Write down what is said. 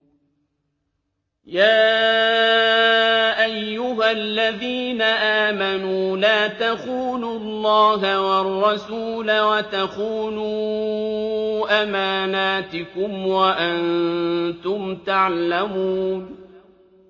يَا أَيُّهَا الَّذِينَ آمَنُوا لَا تَخُونُوا اللَّهَ وَالرَّسُولَ وَتَخُونُوا أَمَانَاتِكُمْ وَأَنتُمْ تَعْلَمُونَ